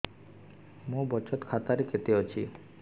ମୋ ବଚତ ଖାତା ରେ କେତେ ଅଛି